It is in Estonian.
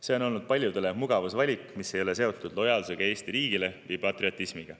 See on olnud paljudele mugavusvalik, mis ei ole seotud lojaalsusega Eesti riigile või patriotismiga.